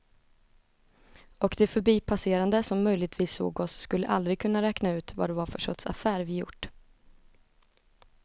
Och de förbipasserande som möjligtvis såg oss skulle aldrig kunna räkna ut vad det var för sorts affär vi gjort.